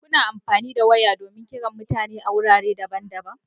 Kuna amfani da waya don kiran mutane a wurare daban-daban.